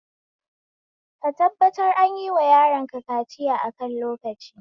Ka tabbatar anyiwa yaronka kaciya akan lokaci